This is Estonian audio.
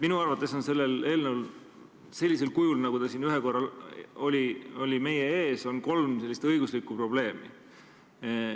Minu arvates on sellel eelnõul sellisel kujul, nagu ta siin ühel korral meie ees oli, kolm õiguslikku probleemi.